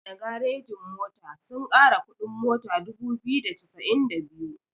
Kowana garejin mota sun kara kuɗin mota dubu biyu da saba'in da biyu.